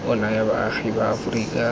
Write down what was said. o naya baagi ba aforika